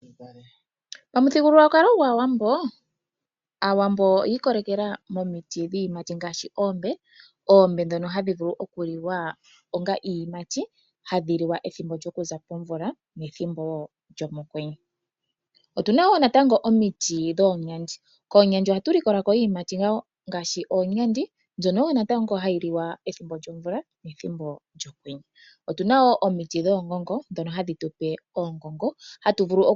Pamuthigululwakalo gwAawambo, Aawambo oyi ikolelela momiti dhiiyimati ngaashi oombe, oombe ndhono hadhi vulu okuliwa onga iiyimati, hadhi liwa pethimbo lyokuza pomvula nethimbo wo lyomokwenye. Otu na wo natango omiti dhoomwandi, koomwandi ohatu likola ko wo natango iiyimati ngaashi oonyandi mbyono wo hayi liwa pethimbo lyomvula nethimbo lyokwenye. Otu na wo omiti dhoongongo ndhono hadhi tu pe oongongo.